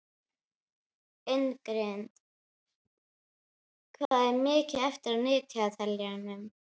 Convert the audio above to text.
Ingrid, hvað er mikið eftir af niðurteljaranum?